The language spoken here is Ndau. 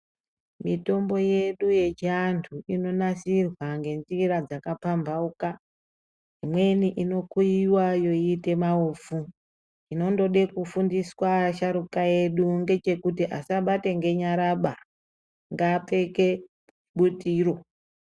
Mitombo yedu yechiantu inonasirwa ngenjira dzakapampauka imweni inokuiwa yoita maufu. Chinondode kufundiswa asharukwa edu ngechekuti asabata ngenyaraba ngapfeke butiro.